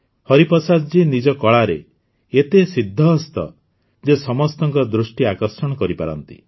ହରିପ୍ରସାଦଜୀ ନିଜ କଳାରେ ଏତେ ସିଦ୍ଧହସ୍ତ ଯେ ସେ ସମସ୍ତଙ୍କ ଦୃଷ୍ଟି ଆକର୍ଷଣ କରିପାରନ୍ତି